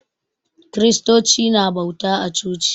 Kristoci na bauta a coci.